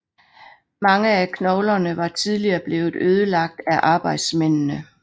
Mange af knoglerne var tidligere blevet ødelagt af arbejdsmændene